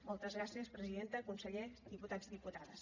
moltes gràcies presidenta conseller diputats i diputades